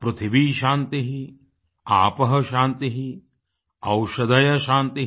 पृथिवी शान्तिः आपः शान्तिः औषधयः शान्तिः